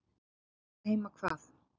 Hollt er heima hvað.